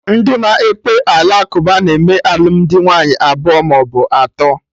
Ndị na ekpe ala kụba na-eme alụmdi nwaanyị abụọ maọbụ atọ